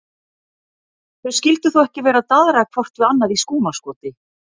Þau skyldu þó ekki vera að daðra hvort við annað í skúmaskoti?